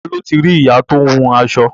Ta ló ti rí ìyá tó ń hun aṣọ?